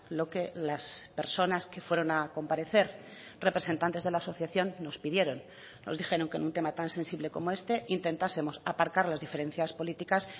lo que las personas que fueron a comparecer representantes de la asociación nos pidieron nos dijeron que en un tema tan sensible como este intentásemos aparcar las diferencias políticas